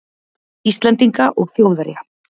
Íslendinga og Þjóðverja.